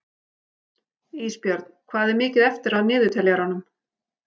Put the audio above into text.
Ísbjörn, hvað er mikið eftir af niðurteljaranum?